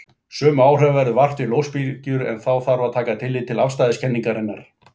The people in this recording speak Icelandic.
Sömu áhrifa verður vart fyrir ljósbylgjur en þá þarf að taka tillit til afstæðiskenningarinnar.